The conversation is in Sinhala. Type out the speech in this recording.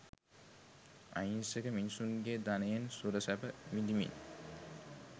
අහිංසක මිනිසුන්ගේ ධනයෙන් සුරසැප විඳිමින්